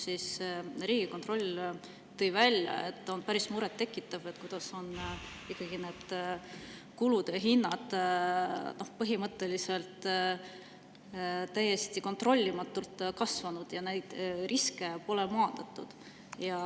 Riigikontroll tõi välja, et on päris murettekitav, kuidas ikkagi need kulutused ja hinnad on põhimõtteliselt täiesti kontrollimatult kasvanud ja neid riske pole maandatud.